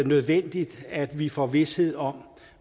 nødvendigt at vi får vished om